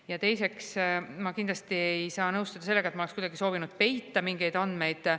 Ja teiseks, ma kindlasti ei saa nõustuda sellega, et ma oleks kuidagi soovinud peita mingeid andmeid.